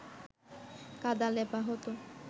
কাদা লেপা হতো